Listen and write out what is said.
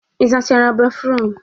Ị sachara béfrụm?